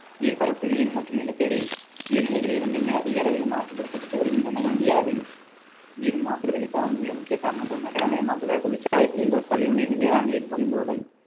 நீர்பரப்பு நீர் மற்றும் நிலத்தடி நீர்நிலைகள் இரண்டையுமே அதிக அளவில் மாசுபடுத்தப்பட்டு வருகின்றன இந்தியாவில் நீர் மாசடைதலுக்கான மிக முக்கிய காரணங்கள் நகரமயமாக்குதல், தொழிற்சாலை கழிவுகள், கழிவுநீர், வேளாண் நீர் வழிந்தோடல்